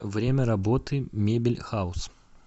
время работы мебель хаус